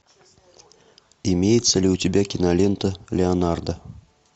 имеется ли у тебя кинолента леонардо